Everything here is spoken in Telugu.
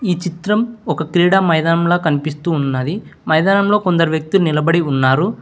ఈ చిత్రం ఒక క్రీడ మైదాముల కనిపిస్తూ ఉన్నది మైదానంలో కొందరు వ్యక్తులు నిలబడి ఉన్నారు.